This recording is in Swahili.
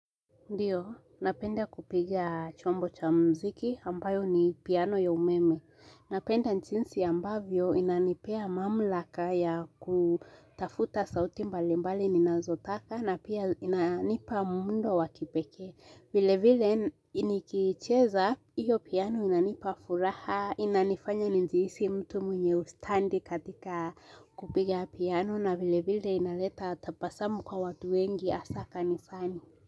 Ndiyo, napenda kupiga chombo cha mziki ambayo ni piano ya umeme. Napenda nchinsi ambavyo inanipea mamlaka ya kutafuta sauti mbalimbali ninazotaka na pia inanipa mundo wakipeke. Vile vile iniikicheza, iyo piano inanipa furaha, inanifanya njihisi mtu mwenye ustandi katika kupiga piano na vile vile inaleta tapasamu kwa watu wengi hasa kanisani.